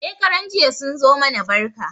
Shekaran jiya sun zo mana barka.